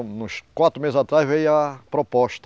Uns quatro meses atrás veio a proposta.